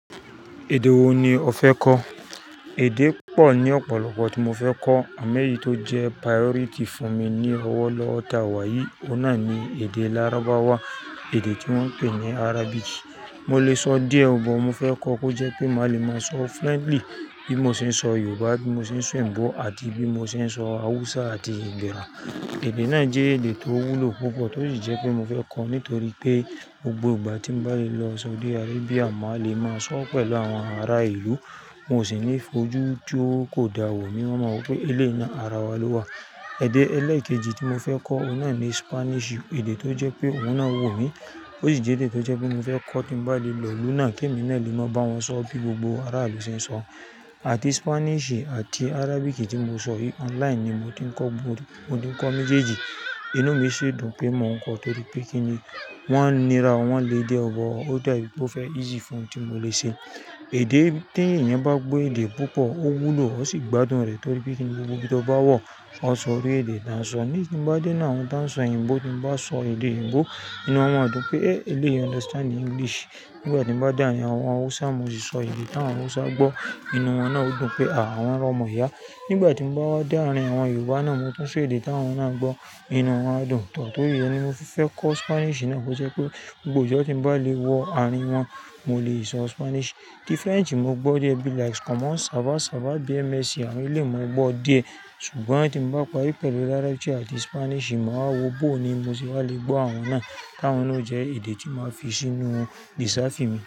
Èdè wo ni o fẹ́ kọ́? Èdè pọ̀ ní ọ̀pọ̀lọpọ̀ tí mo fẹ́ kọ́ àmo ẹ́yì tí ó jẹ́ priority fún mi ni ọwọ́ lọ́wo ta wa yìí, ó náà ni èdè Lárábáwà, èdè tí wọ́n ń pè ní Arabic. Mo lè sọ díẹ̀ ọ̀ but mo fẹ́ kọ́ kó jẹ́ pé màá le máa sọ fluently bí mo ṣe ń sọ Yorùbá, bí mo ṣe ń sọ ebo àti bí mo ṣe ń sọ Hausa àti igbira. Èdè náà jẹ́ èdè tó wúlò púpọ̀ tó sì jẹ́ pé mo fẹ́ kọ́ á nítorí pé gbogbo ìgbà tí mo bá le lọ Saudi Arabia, màá le máa sọ pẹ̀lú àwọn ará ìlú, wọn ó sì ní fojú tí ó kò da wò mí, wọ́n máa mọ pé ilé náà ara wa ló wà. Ẹ̀dè ẹlẹ́ẹ̀kejì tí mo fẹ́ kọ́, ó náà ni Spanish, èdè tó jẹ́ pé òun náà wò mí. Ó sì jẹ́ èdè tó jẹ́ pé mo fẹ́ kọ́ ki n bá le lọ ìlú náà kí èmi náà lè máa bá wọn sọ bí gbogbo ará ìlú ṣe ń sọ. Àti Spanish àti Arabic tí mo sọ yìí online ni mo ti ń kọ́, mo ti ń kọ́ méjèèjì. Inú mi sì dùn pé mò ń kọ́ torí pé kí ni wọ́n ń nira, wọ́n ń le díẹ̀ o but ó da bí i pé ó fẹ́ easy fún ti mo lè ṣe. Èdè tí ẹ̀yàn bá gbọ́ èdè púpọ̀, ó wúlò ó sì gbádùn rẹ̀ torí pé kí ni gbogbo bí tó bá wọ̀ ọ́ sọ orí èdè dáàsọ. Nísin tí mo bá dé náà, àwọn tí ń sọ oyinbo tí mo bá sọ èdè oyinbo, inú wọn máa dùn pé, "eh eléyi understand English." Nígbà tí mo bá dà árin àwọn Hausa, mo sì sọ èdè tí àwọn Hausa gbọ́, inú wọn náà ó dùn pé, "à wọ́n rọ̀ mọ̀ iyá." Nígbà tí mo bá wá dà árin àwọn Yorùbá náà, mo tún sọ èdè tí àwọn náà gbọ́, inú wọn á dùn. Torí re ni mo fi fẹ́ kọ́ Spanish náà, kó jẹ́ pé gbogbo ọjọ́ tí mo bá le wọ àárín wọn, mo lè sọ Spanish. Tí French mo gbọ́ díẹ̀ bí i like common "ça va ça va bien merci" àwọn eleyii mo gbọ́ díẹ̀. Ṣùgbọ́n tí mo bá parí pẹ̀lú Arabic àti Spanish, mo máa wo bó ni mo sì wa le gbọ́ àwọn náà, àwọn náà jẹ́ èdè tí màá fi sínú reserve mi.